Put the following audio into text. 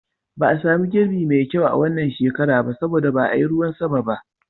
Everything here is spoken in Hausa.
Ba a sami girbi mai kyau a wannan shekara ba saboda ba a yi ruwan sama ba.